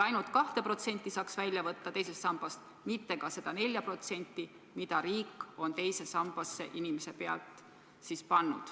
Seega võiks saada välja võtta raha ainult selle 2% ulatuses, mitte ka seda 4%, mis riik on teise sambasse pannud.